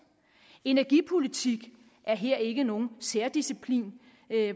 energipolitik er her ikke nogen særdisciplin